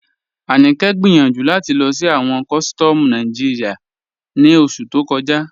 Aníkẹ gbẹ́yànju láti lọ sí awọn kọ̀sítọ̀mù Nàìjíríà ní oṣù tó kọ̀jà.